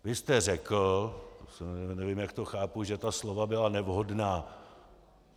Vy jste řekl, nevím, jak to chápu, že ta slova byla nevhodná.